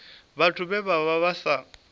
vhathu vhe vha vha sa